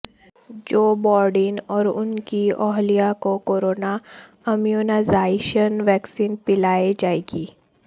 جو بائیڈن اور ان کی اہلیہ کو کورونا امیونائزیشن ویکسین پلائی جائے گی